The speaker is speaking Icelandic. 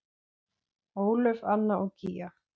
Ólöf, Anna og Gígja.